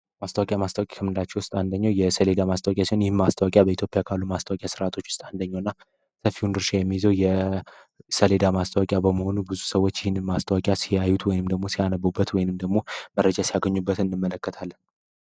ማስታዋቂያ ማስታዋቂያ ከምንላቸው ውስጥ አንደኘው የሰሌዳ ማስታዋቂያ ሲሆን ይህም ማስታዋቂያ በኢትዮጵያ ካሉ ማስታዋቂያ ሥርዓቶች ውስጥ አንደኘው እና ሰፊ ድርሻ የሚይዘው የሰሌዳ ማስታዋቂያ በመሆኑ ብዙ ሰዎች ይህን ማስታዋቂያ ሲያዩት ወይንም ደግሞ ሲያነቡበት ወይንም ደግሞ መረጃ ሲያገኙበት እንመለከታለ።